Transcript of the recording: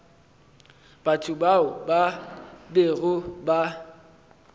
batho bao ba bego ba